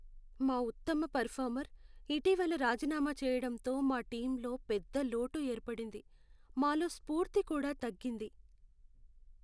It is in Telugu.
మా ఉత్తమ పెరఫార్మర్ ఇటీవల రాజీనామా చెయ్యడంతో మా టీంలో పెద్ద లోటు ఏర్పడింది, మాలో స్ఫూర్తి కూడా తగ్గింది.